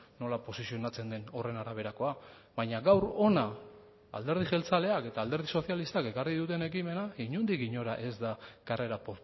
nola posizionatzen den horren araberakoa baina gaur hona alderdi jeltzaleak eta alderdi sozialistak ekarri duten ekimena inondik inora ez da karrera